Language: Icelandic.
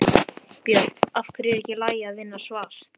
Björn: Af hverju er ekki í lagi að vinna svart?